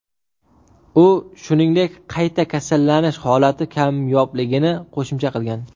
U, shuningdek, qayta kasallanish holati kamyobligini qo‘shimcha qilgan.